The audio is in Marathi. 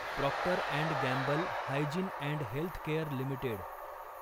Procter and Gamble hygiene and health care limited